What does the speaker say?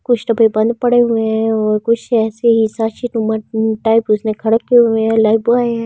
कुछ डबे बंद पड़े हुए हैं और कुछ ऐसे ही टाइप उसमें खड़ा किए हुए हैं ।